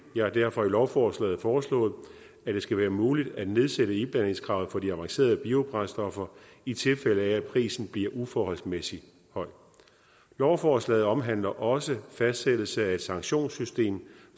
jeg har derfor i lovforslaget foreslået at det skal være muligt at nedsætte iblandingskravet for de avancerede biobrændstoffer i tilfælde af at prisen bliver uforholdsmæssigt høj lovforslaget omhandler også fastsættelse af et sanktionssystem